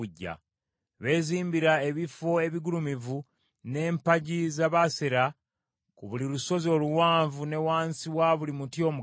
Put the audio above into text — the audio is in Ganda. Beezimbira ebifo ebigulumivu n’empagi za Baaseri ku buli lusozi oluwanvu ne wansi wa buli muti omugazi.